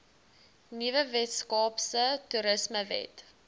nuwe weskaapse toerismewet